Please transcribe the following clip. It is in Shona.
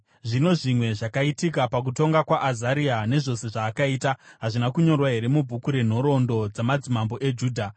Zvino zvimwe zvakaitika pakutonga kwaAzaria, nezvose zvaakaita, hazvina kunyorwa here mubhuku renhoroondo dzamadzimambo eJudha.